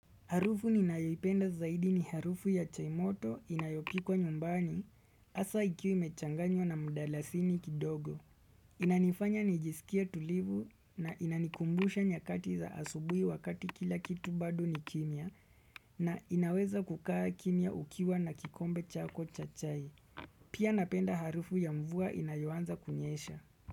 Harufu ni nayoipenda zaidi ni harufu ya chai moto inayopikwa nyumbani hasa ikiwa imechanganywa na mdalasini kidogo. Inanifanya nijisikie tulivu na inanikumbusha nyakati za asubuhi wakati kila kitu bado ni kimya na inaweza kukaa kimya ukiwa na kikombe chako cha chai. Pia napenda harufu ya mvua inayoanza kunyesha.